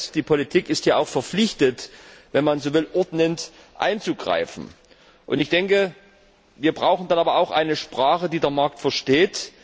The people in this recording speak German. Das heißt, die Politik ist hier auch verpflichtet, wenn man so will, ordnend einzugreifen. Wir brauchen dann aber auch eine Sprache, die der Markt versteht.